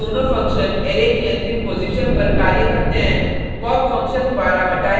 ध्यान दें ये दोनों फंक्शन अरै की अंतिम पॉजिशन पर कार्य करते हैं